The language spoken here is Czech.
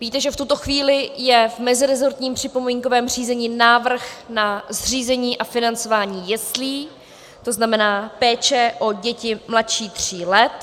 Víte, že v tuto chvíli je v meziresortním připomínkovém řízení návrh na zřízení a financování jeslí, to znamená péče o děti mladší tří let.